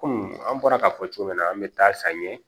Komi an bɔra k'a fɔ cogo min na an bɛ taa san ye